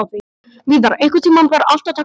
Víðar, einhvern tímann þarf allt að taka enda.